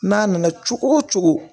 N'a nana cogo o cogo